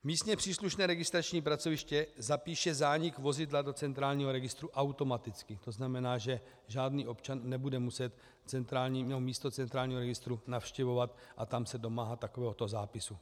Místně příslušné registrační pracoviště zapíše zánik vozidla do centrálního registru automaticky, to znamená, že žádný občan nebude muset místo centrálního registru navštěvovat a tam se domáhat takovéhoto zápisu.